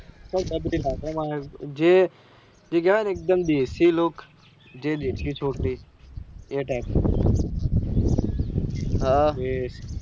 એ આવે ને એકદમ દેસી look જે દેસી છોકરી એ type ની